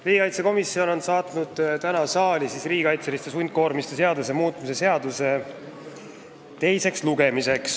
Riigikaitsekomisjon on saatnud tänaseks saali teisele lugemisele riigikaitseliste sundkoormiste seaduse muutmise seaduse eelnõu.